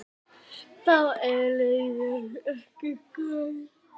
Þó er leiðin ekki greið.